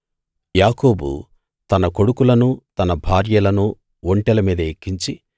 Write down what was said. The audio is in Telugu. యాకోబు తన కొడుకులనూ తన భార్యలనూ ఒంటెల మీద ఎక్కించి